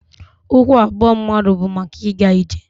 Ụkwụ abụọ mmadụ bu maka ịga ije.